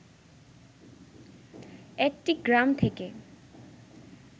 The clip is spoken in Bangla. একটি গ্রাম থেকে